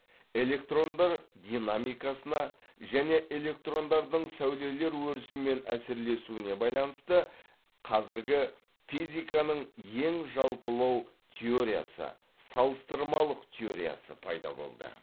электрондар динамикасына және электрондардың сәулелер өрісімен әсерлесуіне байланысты қазіргі физиканың ең жалпылау теориясы салыстырмалық теориясы пайда болды